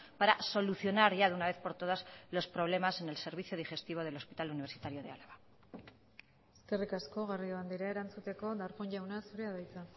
para solucionar ya de una vez por todas los problemas en el servicio digestivo del hospital universitario de álava eskerrik asko garrido andrea erantzuteko darpón jauna zurea da hitza